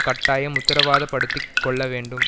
கட்டாயம் உத்திரவாதப்படுத்திக் கொள்ள வேண்டும்